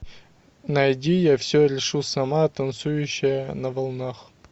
найди я все решу сама танцующая на волнах